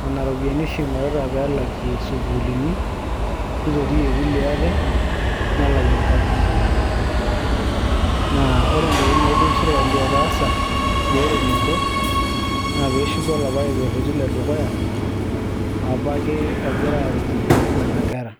nana ropiyiani oshi ing'orita peelakie sukuuluni nitotie kulie aate nelakie nkajijik naa ore ntokitin naidim sirkali ataasa peeret ninche naa peeshuko olapake kerreti ledukuya apake ogira aaretie nana kera.